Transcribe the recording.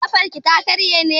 Ƙafarki ta karye ne?